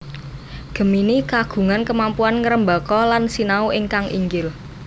Gemini kagungan kemampuan ngrembaka lan sinau ingkang inggil